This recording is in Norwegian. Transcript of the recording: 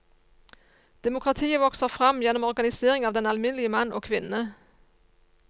Demokratiet vokser fram gjennom organisering av den alminnelige mann og kvinne.